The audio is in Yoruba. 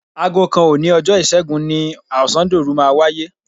Aago kan òní ọjọ́ Ìṣẹ́gun ni ọ̀sándòru máa wáyé.